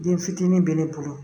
Den fitinin bɛ ne bolo